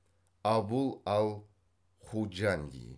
абу ал худжани